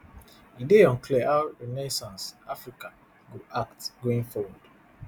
e dey unclear how renaissance [africa] go act going forward